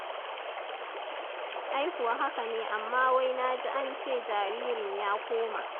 Ai kuwa haka ne amma wai na ji an ce jaririn ya koma.